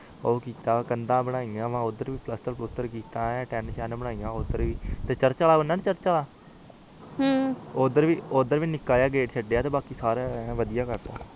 ਓਹਥਏ ਓਦਰ ਵੀ ਕੰਡਾ ਲਾਇਆ ਜਿਹਰਾਕ਼ ਚਰਚ ਵਾਲਾ ਬਣਾ ਨੀ ਚਰਚ ਵਾਲਾ ਓਦਰ ਵੀ ਨਿਕ ਜਾ ਗਾਤੇ ਲਾਯਾ ਤੇ ਸਾਰੇ ਪਾਸੇ ਵੜਿਆ ਬੰਦ ਕਰਤਆ